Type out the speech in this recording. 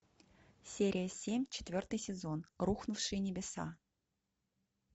серия семь четвертый сезон рухнувшие небеса